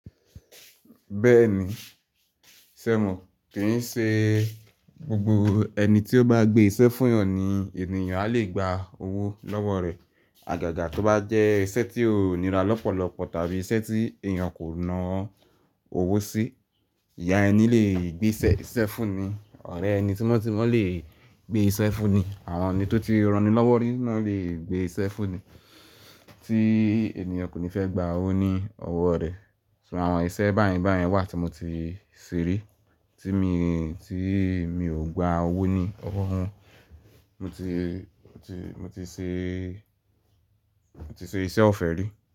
Bẹ́ẹ̀ni, ṣé mo kì ń ṣe gbogbo ẹni tí ó bá gbé iṣẹ́ fún eeyàn ni ènìyàn á lè gba owó lọ́wọ́ rẹ̀. Àgàgà tó bá jẹ́ iṣẹ́ tí ó nira lọ́pọ̀lọpọ̀ tàbí iṣẹ́ tí èèyàn kò na ọ́ owó sí. Ìya ẹni lè gbé iṣẹ́ fún ni, ọ̀rẹ́ ẹni tímọ́ tímọ́ lè gbé iṣẹ́ fún ni, àwọn ẹni tó ti rani lọ́wọ́ ni náà lè gbé iṣẹ́ fún ni tí ènìyàn kò ní fẹ́ gba owó ní ọwọ́ rẹ̀. Ṣo, àwọn iṣẹ́ báyẹn báyẹn wà tí mo ti ṣe rí tí mi, tí mi ò gba owó ní ọwọ́ wọn. Mo ti, mo ti, mo ti ṣe, mo ti ṣe iṣẹ́ ọ̀fẹ́ rí.